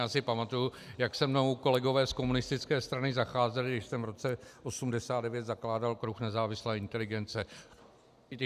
Já si pamatuji, jak se mnou kolegové z komunistické strany zacházeli, když jsem v roce 1989 zakládal Klub nezávislé inteligence.